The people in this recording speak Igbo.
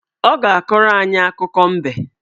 Ọ ga-akọrọ anyị akụkọ mbe